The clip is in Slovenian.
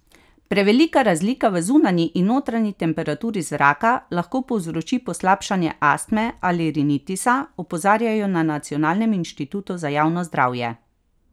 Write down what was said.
Prevelika razlika v zunanji in notranji temperaturi zraka lahko povzroči poslabšanje astme ali rinitisa, opozarjajo na Nacionalnem inštitutu za javno zdravje.